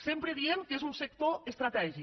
sempre diem que és un sector estratègic